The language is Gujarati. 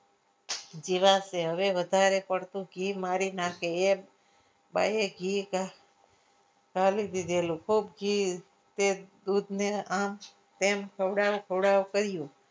જીવાશે હવે વધારે પડતું ઘી મારી નાખે એમ બાહે ઘી ક આપી દીધેલું ખૂબ ઘી તે દૂધને આ તેમ ખવડાવ ખવડાવ કર્યું.